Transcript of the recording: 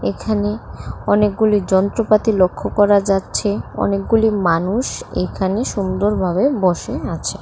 এখানে অনেকগুলি যন্ত্রপাতি লক্ষ করা যাচ্ছে অনেকগুলি মানুষ এখানে সুন্দরভাবে বসে আছে।